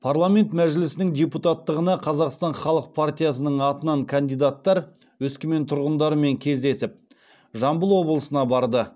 парламент мәжілісінің депутаттығына қазақстан халық партиясының атынан кандидаттар өскемен тұрғындарымен кездесіп жамбыл облысына барды